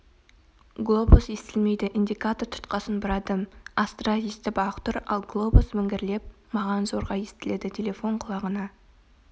глобус естілмейді индикатор тұтқасын бұрадым астра естіп-ақ тұр ал глобус міңгірлеп маған зорға естіледі телефон құлағына